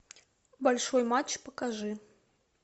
большой матч покажи